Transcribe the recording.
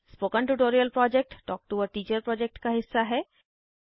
spoken tutorial project talk to a teacher project का हिस्सा है